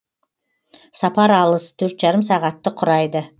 сапар алыс төрт жарым сағатты құрайды